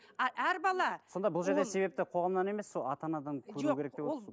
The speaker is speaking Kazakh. а әр бала сонда бұл жерде себепті қоғамнан емес сол ата анадан көру